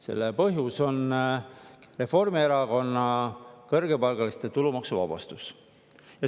See põhjus on Reformierakonna kõrgepalgaliste tulumaksu.